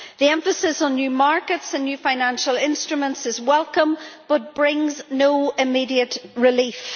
The emphasis on new markets and new financial instruments is welcome but brings no immediate relief.